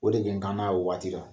O de kaana o waati dɔ